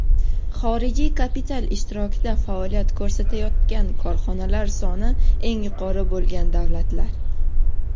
Xorijiy kapital ishtirokida faoliyat ko‘rsatayotgan korxonalar soni eng yuqori bo‘lgan davlatlar:.